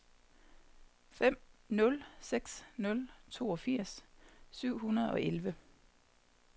fem nul seks nul toogfirs syv hundrede og elleve